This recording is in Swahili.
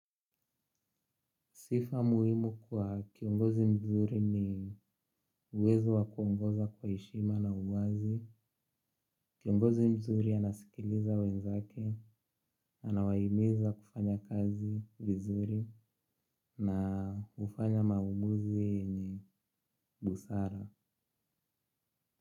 Sifa muhimu kwa kiongozi mzuri ni uwezo wa kuongoza kwa heshima na uwazi. Kiongozi mzuri anasikiliza wenzake, anawahimiza kufanya kazi vizuri na hufanya maamuzi yenye busara.